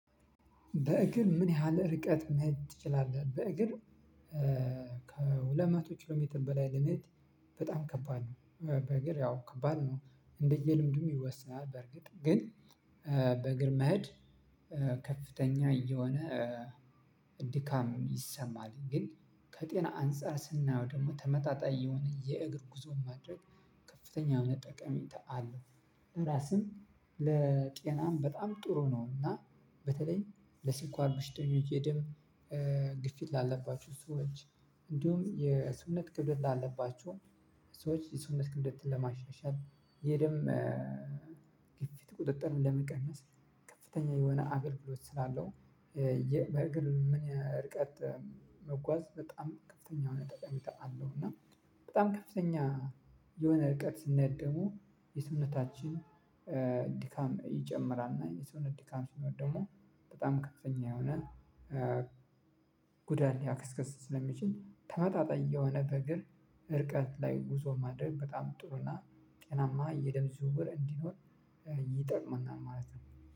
በእግር ምን ያህል ርቀት መሄድ ትችላለህ? በእግር ከሁለት መቶ ኪሎ ሜትር በላይ ለመሄድ በጣም ከባድ ነው በእግር ያው ከባድ ነው እንደየልምዱም ይወስናል በርግጥ። ግን በእግር መሄድ ከፍተኛ የሆነ ድካም ይሰማል ግን ከጤና አንፃር ስናየው ደግሞ ተመጣጣኝ የሆነ የእግር ጉዞ ማድረግ ከፍተኛ የሆነ ጠቀሜታ አለው። ለራስም ለጤናም አሪፍ ነው። እና በተለይ ለስኳር በሽተኞች የደም ግፊት ላለባችው ሰዎች እንዲሁም የሰውነት ክብደት ላለባችው ሰዎች የሰውነት ክብደትን ለማሻሻል የደም ግፊት ቁጥጥር ለመቀነስ ከፍተኛ የሆነ አበርክቶ ስላለው በእግር ምን ርቀት መጓዝ በጣም ከፍተኛ የሆነ ጠቅሜታ አለው። እና በጣም ከፍተኛ የሆነ ርቀት ስንሄድ ደግሞ የሰውነታችን ድካም ይጨምራል። እና የሰውነት ድካም ሲኖር ደግሞ በጣም ከፍተኛ የሆነ ጉዳት ሊያስከትል ስለሚችል ተመጣጣኝ የሆነ በእግር እርቀት ላይ ጉዞ ማድረግ በጣም ጥሩና ጤናማ የደም ዝውውር እንዲኖር ይጠቅመናል ማለት ነው